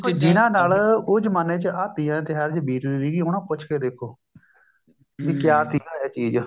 ਦੇਖੋ ਜਿਨ੍ਹਾਂ ਨਾਲ ਉਹ ਦਿਨਾ ਚ ਆਹ ਤੀਆਂ ਦੇ ਤਿਉਹਾਰ ਚ ਬੀਤਦੀ ਸੀਗੀ ਉਹਨਾ ਨੂੰ ਪੁੱਛ ਕੇ ਦੇਖੋ ਕਿਆ ਤੀਆਂ ਹੈ ਚੀਜ਼